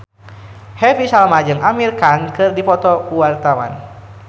Happy Salma jeung Amir Khan keur dipoto ku wartawan